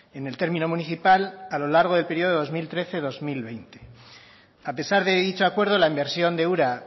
en el término municipal a lo largo del periodo dos mil trece dos mil veinte a pesar de dicho acuerdo la inversión de ura